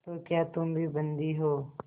तो क्या तुम भी बंदी हो